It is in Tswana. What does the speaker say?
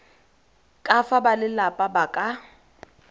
ka fa balelapa ba ka